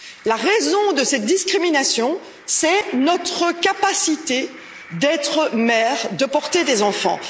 La raison de cette discrimination, c'est notre capacité d'être mères, de porter des enfants.